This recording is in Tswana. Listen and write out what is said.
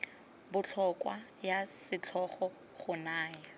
botlhokwa ya setlhogo go naya